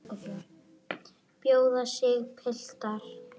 Bjóða sig, piltar.